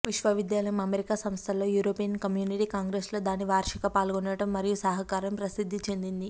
విశ్వవిద్యాలయం అమెరికా సంస్థలతో European community congress లో దాని వార్షిక పాల్గొనడం మరియు సహకారం ప్రసిద్ధి చెందింది